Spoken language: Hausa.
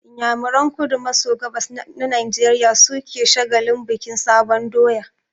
Inyamuran kudu maso gabas na Najeriya su ke shagalin bikin sabon doya